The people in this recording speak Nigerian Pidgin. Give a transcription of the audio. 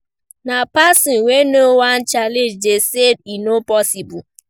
Na person wey no wan change dey say e no possible.